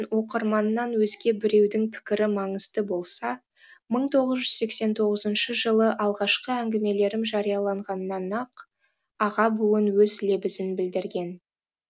оқырманнан өзге біреудің пікірі маңызды болса мың тоғыз жүз сексен тоғызыншы жылы алғашқы әңгімелерім жарияланғаннан ақ аға буын өз лебізін білдірген